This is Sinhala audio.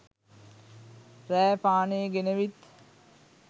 රෑ පානේ ගෙනවිත්